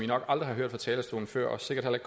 nok aldrig har hørt fra talerstolen før og sikkert heller